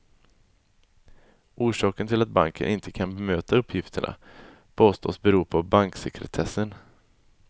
Orsaken till att banken inte kan bemöta uppgifterna påstås bero på banksekretessen.